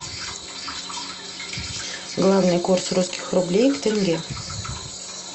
главный курс русских рублей в тенге